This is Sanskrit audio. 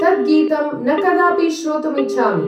तद्गीतं न कदापि श्रोतुमिच्छामि।